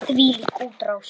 Þvílík útrás!